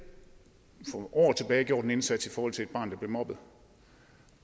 for år tilbage gjort en indsats i forhold til et barn der blev mobbet